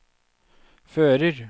fører